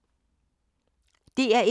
DR1